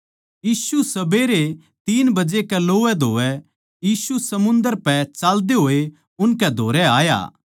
यीशु सबेरै तीन बजे कै लोवैधोवै यीशु समुन्दर पै चाल्दे होए उनकै धोरै आया